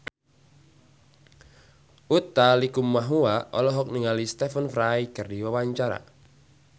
Utha Likumahua olohok ningali Stephen Fry keur diwawancara